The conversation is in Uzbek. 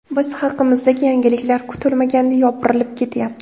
Biz haqimizdagi yangiliklar kutilmaganda yopirilib ketyapti.